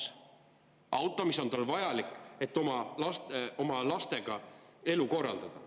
See auto on talle vajalik, et oma oma lastega elu korraldada.